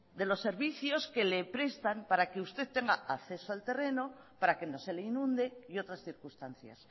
de los servicios que le prestan para que usted tenga acceso al terreno para que no se le inunde y otras circunstancias